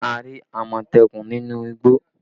We saw a Leopard in the forest